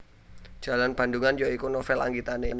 Jalan Bandungan ya iku novel anggitane